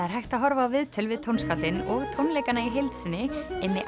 er hægt að horfa á viðtöl við tónskáldin og tónleikana í heild inni